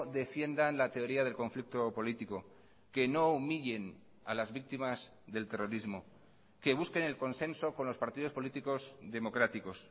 defiendan la teoría del conflicto político que no humillen a las víctimas del terrorismo que busquen el consenso con los partidos políticos democráticos